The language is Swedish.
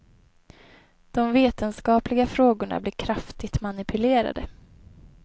De vetenskapliga frågorna blir kraftig manipulerade.